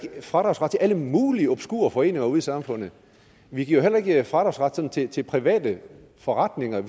fradragsret til alle mulige obskure foreninger ude i samfundet vi giver jo heller ikke fradragsret til til private forretninger